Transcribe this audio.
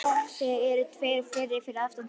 Þeir eru tveir og fleiri fyrir aftan þá.